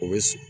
O bɛ sigi